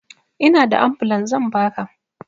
Inada ambulan zan baka